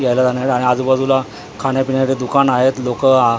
यायला जायला आणि आजूबाजूला दुकानं खाण्यापिण्यासाठी दुकान आहेत लोकं आ झाडं--